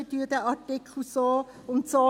Wir streichen diesen Artikel so und so.